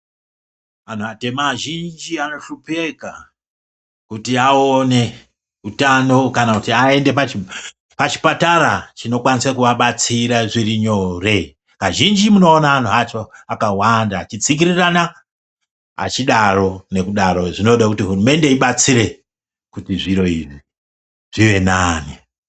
Antu atema azhinji anohlupheka kuti awone utano kana kuti aende pachipatara chinokwanisa kuvabatsira zvirinyore. Kazhinji munoona antu acho akawanda achitsikirirana achidaro. Nokudaro zvinoda kuti hurumende ibatsire kuti zviro izvi zvivenani.